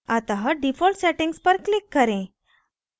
अतः default settings पर click करें